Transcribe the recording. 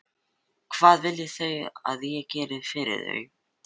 Og hvað vilja þau að ég geri fyrir þau?